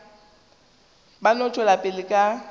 ba no tšwela pele ka